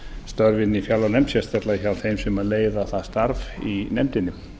störfum í fjárlaganefnd sérstaklega hjá þeim sem leiða það starf í nefndinni